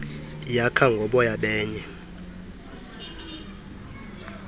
yakha ngoboya benye